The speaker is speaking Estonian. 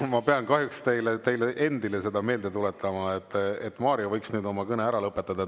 Ma pean kahjuks teile endale seda meelde tuletama, et Mario võiks oma kõne ära lõpetada.